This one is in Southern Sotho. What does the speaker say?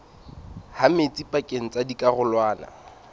ha metsi pakeng tsa dikarolwana